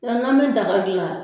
Wa n'an bɛ daga dilan.